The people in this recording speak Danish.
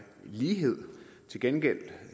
lighed til gengæld